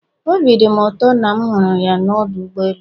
Obi dị m ụtọ na m hụrụ ya n'ọdụ ụgbọ elu.